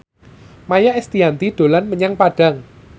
Maia Estianty dolan menyang Padang